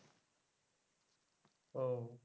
ওহ